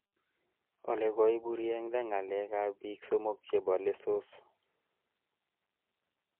Ole koiburiengda ngalekab bik somok chebo lessos